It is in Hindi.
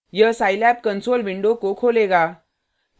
यह scilab console विंडो को खोलेगा